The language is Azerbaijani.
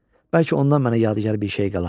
Bəlkə ondan mənə yadigar bir şey qala.